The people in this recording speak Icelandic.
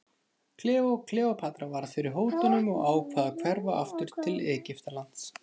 Kleópatra varð fyrir hótunum og ákvað að hverfa aftur til Egyptalands.